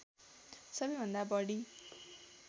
सबैभन्दा बढी